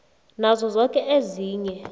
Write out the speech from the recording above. nazo zoke ezinye